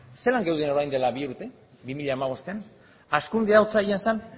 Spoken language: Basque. zelan geuden orain dela bi urte bi mila hamabostean hazkundea otsailean zen